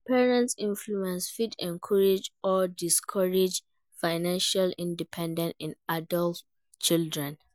Parents's influence fit encourage or discourage financial independence in adult children.